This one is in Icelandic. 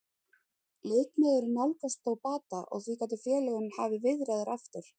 Leikmaðurinn nálgast þó bata og því gætu félögin hafið viðræður aftur.